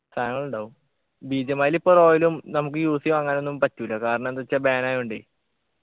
സാനങ്ങളുണ്ടാവും BGMI ലിപ്പൊ royal ഉം നമ്മക്ക് use ചെയ്യ അങ്ങാനൊന്നും പറ്റൂല കാരണന്ത്ച്ചാ ban ആയൊണ്ടേ